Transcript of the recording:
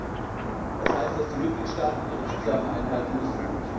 Wirksam das heißt, dass die Mitgliedstaaten ihre Zusagen einhalten müssen.